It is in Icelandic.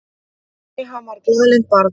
Nei, hann var glaðlynt barn.